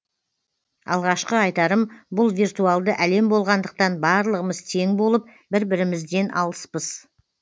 алғашқы айтарым бұл виртуалды әлем болғандықтан барлығымыз тең болып бір бірімізден алыспыз